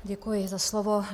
Děkuji za slovo.